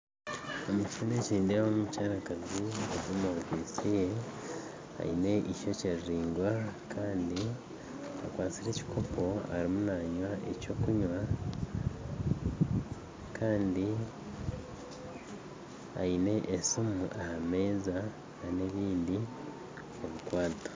Omu kishushani eki nindeemu omukyarakazi aine ishokye riringwa kandi akwatsire ekikopo arimu nanywa ekyokunywa kandi aine esimu aha meeza nana ebindi